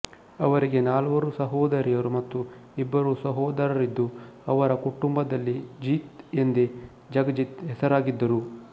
ಅವರಿಗೆ ನಾಲ್ವರು ಸಹೋದರಿಯರು ಮತ್ತು ಇಬ್ಬರು ಸಹೋದರರಿದ್ದು ಅವರ ಕುಟುಂಬದಲ್ಲಿ ಜೀತ್ ಎಂದೇ ಜಗಜಿತ್ ಹೆಸರಾಗಿದ್ದರು